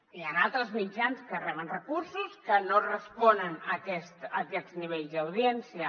hi han altres mitjans que reben recursos que no respo·nen a aquests nivells d’audiència